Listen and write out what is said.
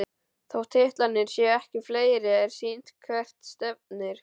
Þótt titlarnir séu ekki fleiri er sýnt hvert stefnir.